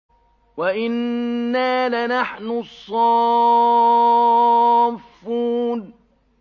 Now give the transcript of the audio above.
وَإِنَّا لَنَحْنُ الصَّافُّونَ